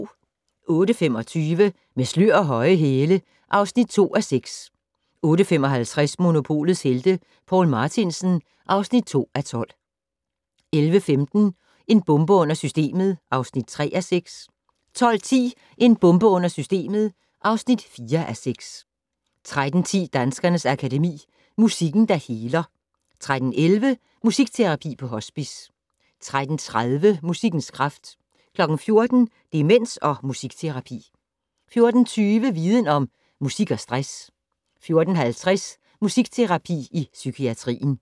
08:25: Med slør og høje hæle (2:6) 08:55: Monopolets Helte - Poul Martinsen (2:12) 11:15: En bombe under systemet (3:6) 12:10: En bombe under systemet (4:6) 13:10: Danskernes Akademi: Musikken, der heler 13:11: Musikterapi på hospice 13:30: Musikkens kraft 14:00: Demens og musikterapi 14:20: Viden Om: Musik og stress 14:50: Musikterapi i psykiatrien